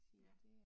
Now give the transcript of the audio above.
Ja